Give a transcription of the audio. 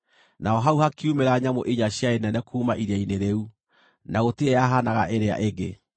Naho hau hakiumĩra nyamũ inya ciarĩ nene kuuma iria-inĩ rĩu, na gũtirĩ yahanaga ĩrĩa ĩngĩ.